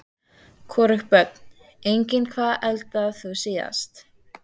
Hvorugt Börn: Engin Hvað eldaðir þú síðast?